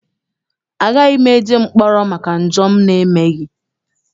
Agaghị m eje mkpọrọ maka njọ m emeghị.